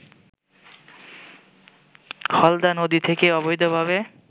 হালদা নদী থেকে অবৈধভাবে